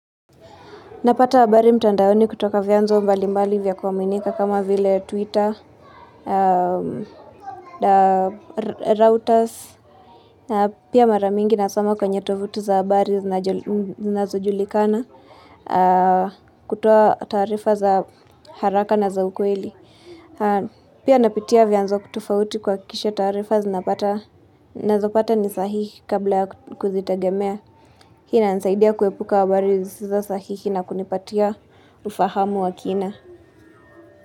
Napata habari mtandaoni kutoka vya nzo mbali mbali vya kuwaminika kama vile twitter, routers Pia mara mingi nasoma kwenye tovuti za habari zinazo julikana kutoa taarifa za haraka na za ukweli Pia napitia vya nzo tofauti kuhakikisha tarifa nazopata nisahihi kabla ya kuzitegemea Hii inanisaidia kuepuka habari zisizo sahihi na kunipatia ufahamu wa kina.